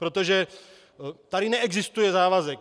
Protože tady neexistuje závazek.